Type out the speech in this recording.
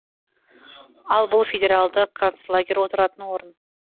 ал бұл федералды канцлагер отыратын орын